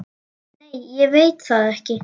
Nei ég veit það ekki.